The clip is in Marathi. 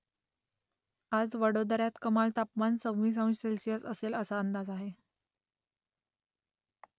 आज वडोदऱ्यात कमाल तापमान सव्वीस अंश सेल्सिअस असेल असा अंदाज आहे